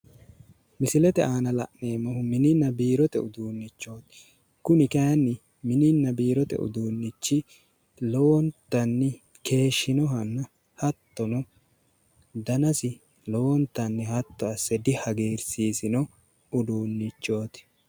Misilete aana la'neemmo mininna biirote uduunnichooti kuni kayiinni mininna biirote uduunnichi lowontanni keeshinohanna hattono danasi lowontanni hatto asse dihagiirsiisino uduunnichooti.